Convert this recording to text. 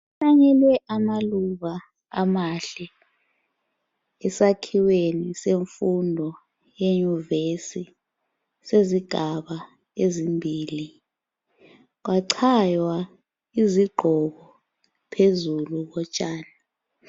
Kuhlanyelwe amaluba amahle esakhiweni semfundo yenyuvesi sezigaba ezimbili kwachaywa izigqoko phezulu kotshani.